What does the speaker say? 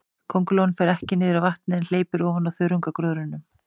Köngulóin fer ekki niður í vatnið, en hleypur ofan á þörungagróðrinum.